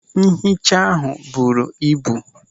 Nhicha ahụ buru ibu.